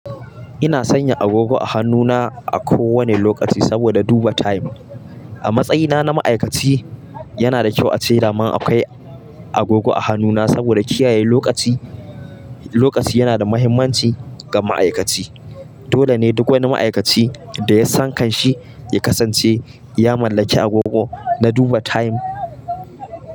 Ina sanya agogo a hannuna a kowane lokaci saboda duba time. A matsayina na ma'aikaci, yana da kyau ace dama akwai agogo a hannuna saboda kiyaye lokaci. Lokaci yana da mahimmancin ga ma'aikaci, dole ne duk wani ma'aikaci da ya san kanshi ya kasance ya mallaki agogo na duba time.